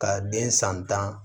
Ka den san tan